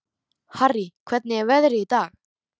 Harrý, hvernig er veðrið í dag?